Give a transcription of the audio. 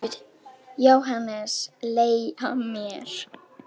JÓHANNES: Leigja mér?